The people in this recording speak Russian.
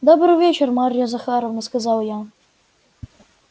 добрый вечер марья захаровна сказал я